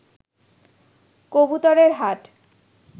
কবুতরের হাট